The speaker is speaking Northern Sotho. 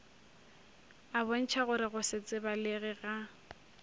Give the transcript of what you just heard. a bontšhagore go setsebalege ga